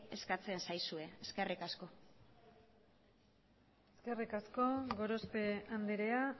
eskatzen zaizue eskerrik asko eskerrik asko gorospe andrea